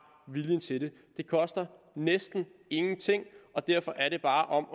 viljen til det det koster næsten ingenting og derfor er det bare om